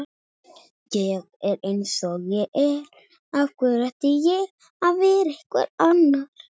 Ég er